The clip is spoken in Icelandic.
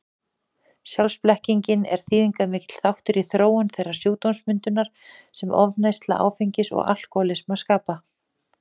Sjálfsblekkingin er þýðingarmikill þáttur í þróun þeirrar sjúkdómsmyndar sem ofneysla áfengis og alkohólismi skapa.